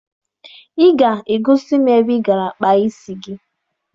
Ị ga-egosi m ebe ị gara kpaa isi gị